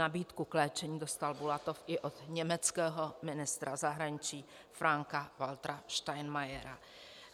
Nabídku k léčení dostal Bulatov i od německého ministra zahraničí Franka-Waltera Steinmeiera.